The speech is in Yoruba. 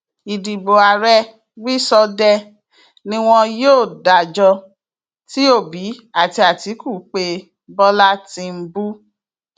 ìdìbò ààrẹ wíṣọdẹẹ ni wọn yóò dájọ tí òbí àti àtìkù pé bọlá tìǹbù